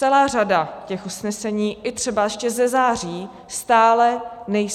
Celá řada těch usnesení i třeba ještě ze září stále není